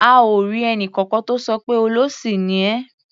A ò rí ẹnìkankan tó sọ pé "olóṣì ni ẹ́".